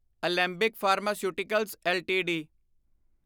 Alembic pharmaceuticals LTD